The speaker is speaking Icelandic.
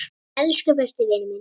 Elsku besti vinur minn.